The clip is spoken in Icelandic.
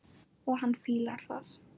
Og hann fílar það.